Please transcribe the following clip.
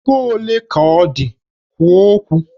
Ego ole ka ọ dị? Kwuo okwu!